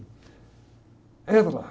Entro lá.